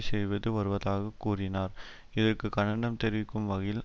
செய்து வருவதாக கூறினார் இதற்கு கண்டனம் தெரிவிக்கும் வகையில்